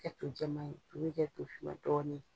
A ti kɛ to jɛma ye a to bɛ kɛ tofinma dɔɔnin ye.